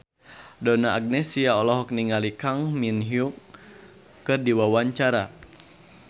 Donna Agnesia olohok ningali Kang Min Hyuk keur diwawancara